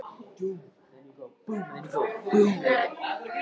Ég finn það, sagði hann og virtist miður sín.